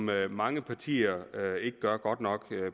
hvad mange partier ikke gør godt nok